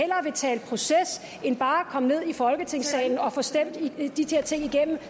proces end bare komme ned i folketingssalen og få stemt de der ting igennem